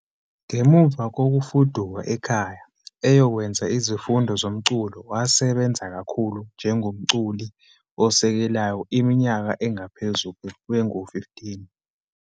Ngemuva kokufuduka ekhaya eyokwenza izifundo zomculo, wasebenza kakhulu njengomculi osekelayo iminyaka engaphezu kwengu-15.